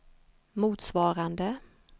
motsvarande